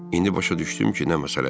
İndi başa düşdüm ki, nə məsələdir.